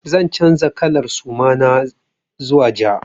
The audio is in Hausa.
Zan canza kalar suma na zuwa ja.